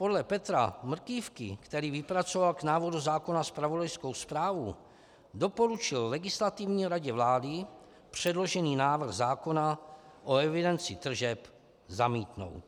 Podle Petra Mrkývky, který vypracoval k návrhu zákona zpravodajskou zprávu, doporučil Legislativní radě vlády předložený návrh zákona o evidenci tržeb zamítnout.